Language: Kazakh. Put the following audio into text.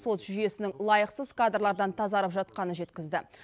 сот жүйесінің лайықсыз кадрлардан тазарып жатқанын жеткізді